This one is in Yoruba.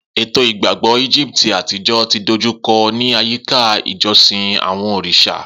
Eto igbagbọ Egipti atijọ ti dojukọ ni ayika ijosin awọn oriṣa.